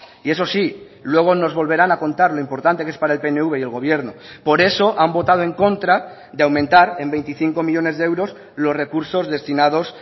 y eso sí luego nos volverán a contar lo importante que es para el pnv y el gobierno por eso han votado en contra de aumentar en veinticinco millónes de euros los recursos destinados